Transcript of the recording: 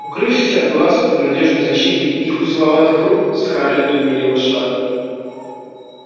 укрывшись от глаз под надёжной защитой их узловатых рук скарлетт умерила шаг